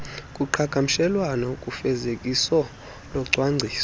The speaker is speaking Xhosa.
kuqhagamshelwano kufezekiso locwangciso